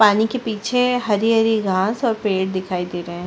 पानी के पीछे हरी - हरी घास और पेड़ दिखाई दे रहे है।